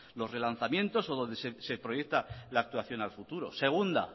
los relanzamientos o donde se proyecta la actuación a futuro segunda